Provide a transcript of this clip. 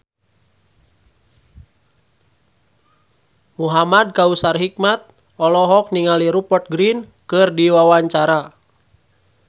Muhamad Kautsar Hikmat olohok ningali Rupert Grin keur diwawancara